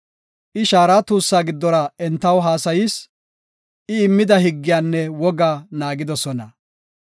I shaara tuussaa giddora entaw haasayis; I immida higgiyanne wogaa naagidosona.